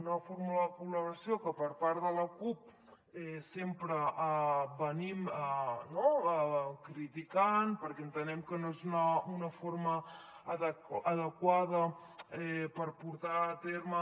una fórmula de col·laboració que per part de la cup sempre critiquem perquè entenem que no és una forma adequada per portar a terme